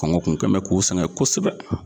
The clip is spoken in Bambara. Kɔngɔ kun kɛ n bɛ k'u sɛgɛn kosɛbɛ